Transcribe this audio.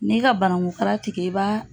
N'i ka banangu kala tigɛ i ba